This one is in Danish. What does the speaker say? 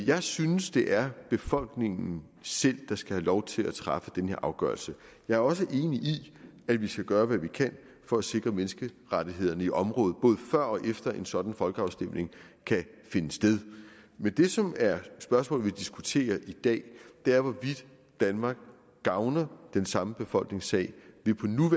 jeg synes det er befolkningen selv der skal have lov at træffe den her afgørelse jeg er også enig i at vi skal gøre hvad vi kan for at sikre menneskerettighederne i området både før og efter en sådan folkeafstemning kan finde sted men det som er spørgsmålet vi diskuterer i dag er hvorvidt danmark gavner den samme befolknings sag ved